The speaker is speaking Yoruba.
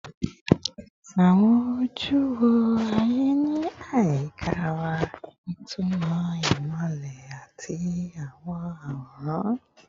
Awọn oju wo aye ni ayika wa, itumọ imọlẹ ati awọn aworan